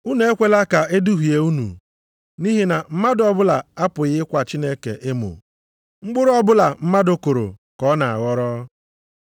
Unu ekwela ka e duhie unu, nʼihi na mmadụ ọbụla apụghị ịkwa Chineke emo. Mkpụrụ ọbụla mmadụ kụrụ ka ọ na-aghọrọ.